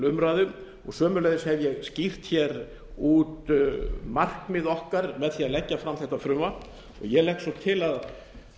umræðu og sömuleiðis hef ég skýrt út markmið okkar með því að leggja fram þetta frumvarp ég legg svo til að